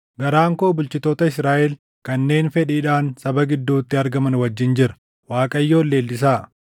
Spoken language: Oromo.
Garaan koo bulchitoota Israaʼel kanneen fedhiidhaan saba gidduutti argaman wajjin jira. Waaqayyoon leellisaa!